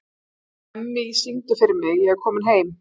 Emmý, syngdu fyrir mig „Ég er kominn heim“.